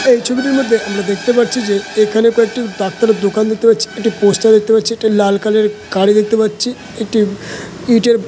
এই ছবিটির মধ্যে আমরা দেখতে পারছি যে এখানে কয়েকটি ডাক্তারের দোকান দেখতে পারছি একটা পোস্টার দেখতে পারছি একটা লাল কালার এর গাড়ি দেখতে পাচ্ছি একটি ইটের--